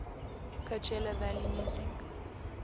coachella valley music